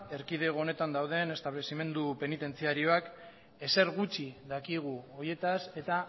erkidego honetan dauden establezimendu penitentziarioak ezer gutxi dakigu horietaz eta